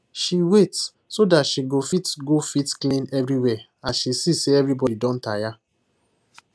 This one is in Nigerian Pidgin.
she wait so that she go fit go fit clean everywhere as she see say everybody don tire